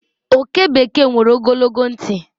Oke bekee nwere ogologo ntị.